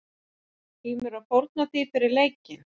Tímirðu að fórna því fyrir leikinn?